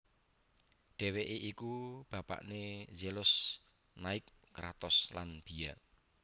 Dhèwèké iku bapakné Zelos Nike Kratos lan Bia